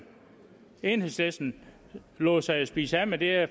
enhedslisten lod sig jo spise af med det